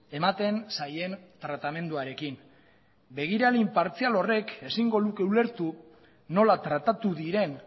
ematen zaien tratamenduarekin begirale inpartzial horrek ezingo luke ulertu nola tratatu diren